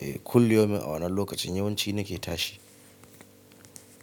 E kulli yaumin a wannan lokacin yawanci nake tashi.